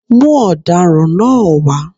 Mú ọ̀daràn náá wá